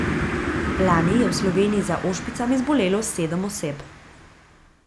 Lani je v Sloveniji za ošpicami zbolelo sedem oseb.